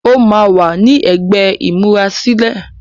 óma wá ní ègbé imurasilẹ.